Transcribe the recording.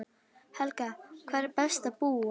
Helga: Hvar er best að búa?